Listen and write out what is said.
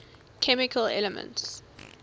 chemical elements